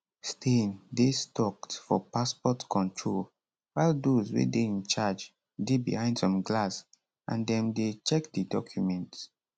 stein dey stucked for passport control while dose wey dey in charge dey behind some glass and dem dey check di documents